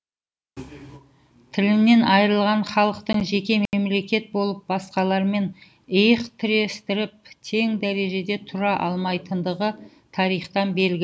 тіліннен айырылған халықтың жеке мемлекет болып басқалармен иық тірестіріп тең дәрежеде тұра алмайтындығы тарихтан белгілі